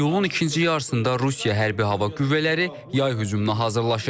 İyulun ikinci yarısında Rusiya hərbi hava qüvvələri yay hücumuna hazırlaşır.